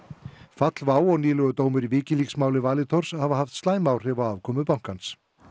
fall WOW og nýlegur dómur í WikiLeaks máli Valitors hafa haft slæm áhrif á afkomu bankans